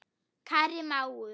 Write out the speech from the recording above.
Kæri mágur.